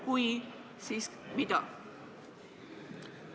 Kui olete, siis mida?